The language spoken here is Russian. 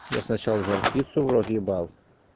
я сначала жар-птицу в рот ебал